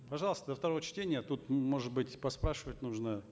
пожалуйста до второго чтения тут может быть поспрашивать нужно